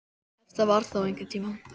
Ef það var þá einhvern tíma.